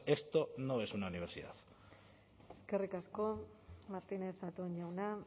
esto no es una universidad eskerrik asko martínez zatón jauna